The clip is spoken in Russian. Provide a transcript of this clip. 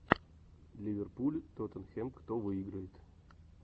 ливерпуль тоттенхэм кто выиграет